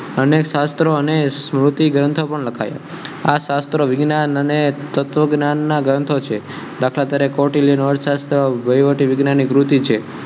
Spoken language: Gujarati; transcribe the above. અને સસ્ત્રો અને સ્તુતિ ગ્રંથ પણ લખાય આ સસ્ત્રો અને તત્વ ના ગ્રંથો છે.